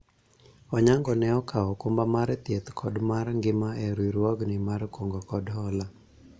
Onyango ne okawo okumba mar thieth kod mar ngima e riwruogni mar kungo kod hola